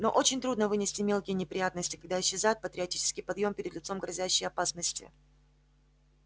но очень трудно вынести мелкие неприятности когда исчезает патриотический подъем перед лицом грозящей опасности